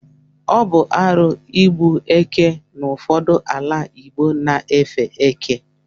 Ọ bụ arụ igbu eke n’ụfọdụ ala igbo na-efe eke